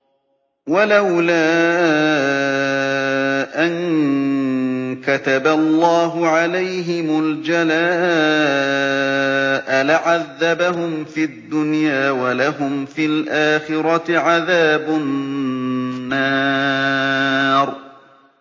وَلَوْلَا أَن كَتَبَ اللَّهُ عَلَيْهِمُ الْجَلَاءَ لَعَذَّبَهُمْ فِي الدُّنْيَا ۖ وَلَهُمْ فِي الْآخِرَةِ عَذَابُ النَّارِ